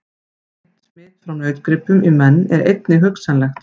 Beint smit frá nautgripum í menn er einnig hugsanlegt.